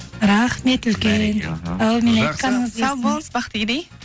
рахмет үлкен әумин айтқаныңыз келсін сау болыңыз бақтыгерей